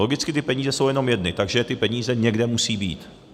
Logicky ty peníze jsou jenom jedny, takže ty peníze někde musí být.